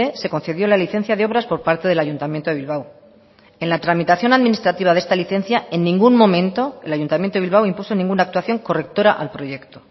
se concedió la licencia de obras por parte del ayuntamiento de bilbao en la tramitación administrativa de esta licencia en ningún momento el ayuntamiento de bilbao impuso ninguna actuación correctora al proyecto